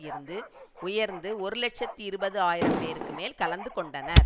இருந்து உயர்ந்து ஒரு இலட்சத்தி இருபது ஆயிரம் பேருக்கும் மேல் கலந்து கொண்டனர்